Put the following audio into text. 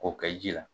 K'o kɛ ji la